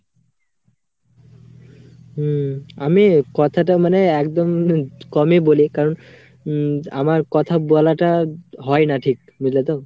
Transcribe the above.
হম আমি কথাটা মানে একদম কমই বলি কারণ উম আমার কথা বলা টা হয়না ঠিক বুঝলেতো